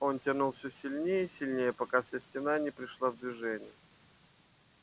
он тянул всё сильнее и сильнее пока вся стена не пришла в движение